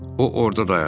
O orda dayanıb.